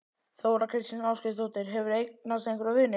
Þóra kristín Ásgeirsdóttir: Hefurðu eignast einhverja vini?